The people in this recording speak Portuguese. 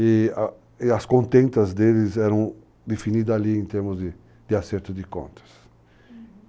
E as contentas deles eram definidas ali em termos de acerto de contas. Uhum.